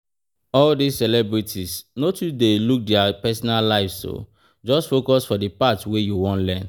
All dis celebrities, no too dey look dia personal lives, just focus for the part wey you wan learn